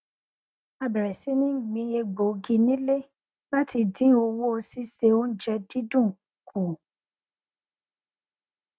a bẹrẹ sí ní gbin egbògi nílé láti dín owó síse oúnjẹ dídùn kù